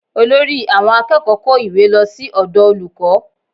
Olórí àwọn akẹ́kọ̀ọ́ kó ìwé lọ sí ọ̀dọ̀ olùkọ́